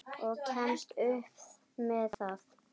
Og kemst upp með það!